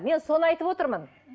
мен соны айтып отырмын